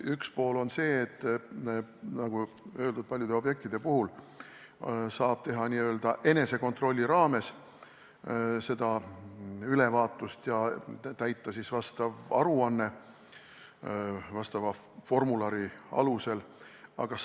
Üks pool on see, et paljude objektide puhul saab teha n-ö enesekontrolli korras seda ülevaatust ja täita vastava formulari alusel aruande.